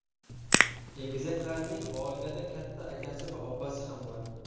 Egizaklarning oilada katta akasi va opasi ham bor.